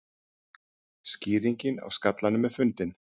Skýringin á skallanum fundin